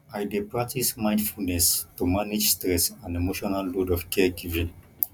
i dey practice mindfulness to manage stress and emotional load of caregiving